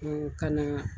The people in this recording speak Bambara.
ka na